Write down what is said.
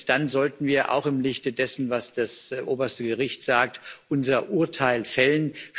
Dann sollten wir auch im Lichte dessen, was das oberste Gericht sagt unser Urteil fällen.